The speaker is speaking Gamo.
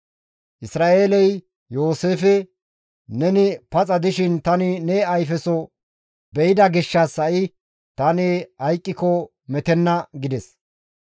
Isra7eeley Yooseefe, «Neni paxa dishin tani ne ayfeso be7ida gishshas hi7a tani hayqqiko metenna» gides.